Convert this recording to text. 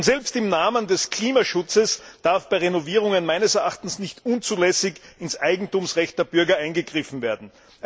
Selbst im Namen des Klimaschutzes darf bei Renovierungen meines Erachtens nicht unzulässig ins Eigentumsrecht der Bürger eingegriffen werden.